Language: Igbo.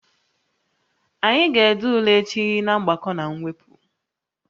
Anyị ga-ede ule echi na mgbakọ na mwepụ